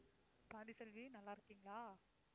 பாண்டிச்செல்வி நல்லா இருக்கீங்களா?